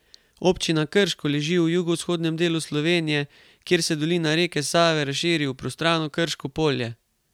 Občina Krško leži v jugovzhodnem delu Slovenije, kjer se dolina reke Save razširi v prostrano Krško polje.